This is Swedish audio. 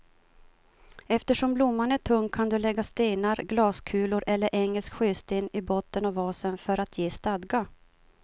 Eftersom blomman är tung kan du lägga stenar, glaskulor eller engelsk sjösten i botten av vasen för att ge stadga.